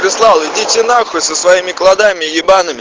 прислал идите на хуй со своими кладами ебаными